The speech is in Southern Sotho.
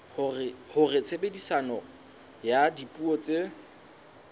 hore tshebediso ya dipuo tse